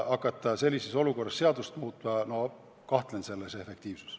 Hakata sellises olukorras seadust muutma – no ma kahtlen selle efektiivsuses.